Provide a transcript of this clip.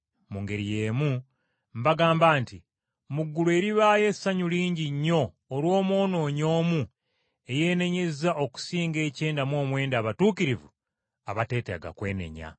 Mu ngeri y’emu, mbagamba nti mu ggulu eribaayo essanyu lingi nnyo olw’omwonoonyi omu eyeenenyezza okusinga ekyenda mu omwenda abatuukirivu abateetaaga kwenenya.”